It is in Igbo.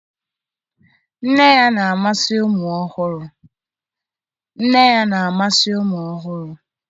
Nne ya na-amasị ụmụ ọhụrụ.